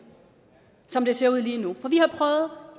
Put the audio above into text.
som det ser ud lige nu for vi har prøvet